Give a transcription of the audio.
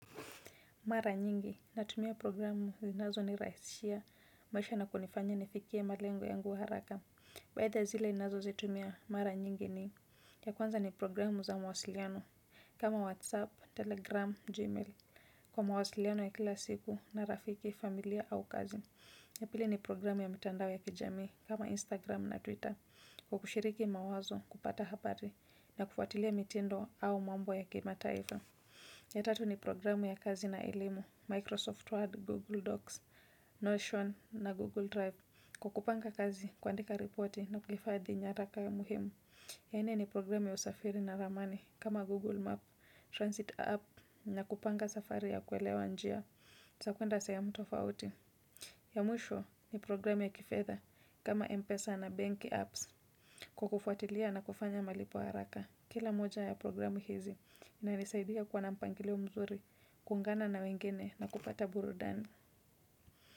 Mara nyingi, natumia programu zinazo nirahisishia, maisha na kunifanya nifikie malengo yangu haraka. Baadhi zile ninazo zitumia, mara nyingi ni, ya kwanza ni programu za mawasiliano, kama WhatsApp, Telegram, Gmail, kwa mawasiliano ya kila siku, na rafiki, familia au kazi. Ya pili ni programu ya mitandao ya kijamii, kama Instagram na Twitter, kwa kushiriki mawazo kupata habari, na kufuatilia mitendo au mambo ya kima taifa. Ya tatu ni programu ya kazi na elimu, Microsoft Word, Google Docs, Notion na Google Drive. Kukupanga kazi, kuandika ripoti na kuhifadhi nyaraka ya muhimu. Ya nne ni programu ya usafiri na ramani kama Google Map, Transit App na kupanga safari ya kuelewa njia. Za kwenda sehemu tofauti. Ya mwisho ni programu ya kifedha kama M-Pesa na Bank Apps kukufuatilia na kufanya malipo haraka. Kila moja ya programu hizi inanisaidia kuwa na mpangilio mzuri, kuungana na wengine na kupata burudani.